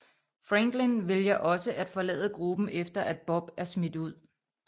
Franklin vælger også at forlade gruppen efter at Bob er smidt ud